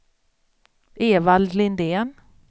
Evald Lindén